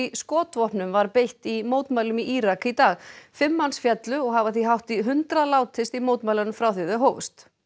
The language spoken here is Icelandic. skotvopnum var beitt í mótmælum í Írak í dag fimm manns féllu og hafa því hátt í hundrað látist í mótmælunum frá því þau hófust